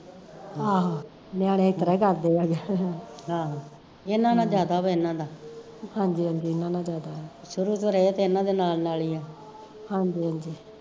ਆਹੋ ਨਿਆਣੇ ਇਸਤਰਾਂ ਈ ਕਰਦੇ ਆ ਹੰਜੀ ਹੰਜੀ ਹਾਂਜੀ ਹਾਂਜੀ